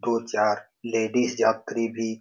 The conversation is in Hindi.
दो-चार लेडीज यात्री भी --